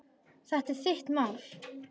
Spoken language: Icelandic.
Þetta er þitt mál.